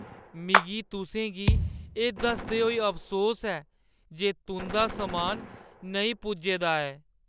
मिगी तुसें गी एह् दसदे होई अफसोस ऐ जे तुंʼदा समान नेईं पुज्जे दा ऐ।